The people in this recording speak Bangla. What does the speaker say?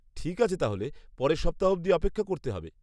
-ঠিক আছে তাহলে, পরের সপ্তাহ অবধি অপেক্ষা করতে হবে।